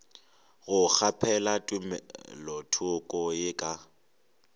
go kgaphela tumelothoko ye ka